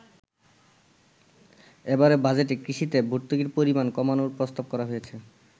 এবারের বাজেটে কৃষিতে ভর্তুকির পরিমাণ কমানোর প্রস্তাব করা হয়েছে।